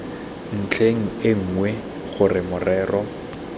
ntlheng e nngwe gore morero